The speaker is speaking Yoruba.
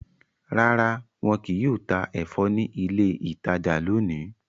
Rara, wọn kìí yóò ta ẹfọ ni ilé ìtajà lóni